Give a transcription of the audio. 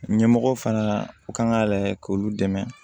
Ɲɛmɔgɔw fana kan ka lajɛ k'olu dɛmɛ